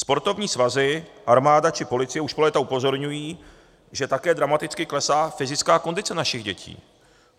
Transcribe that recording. Sportovní svazy, armáda či policie už po léta upozorňují, že také dramaticky klesá fyzická kondice našich dětí.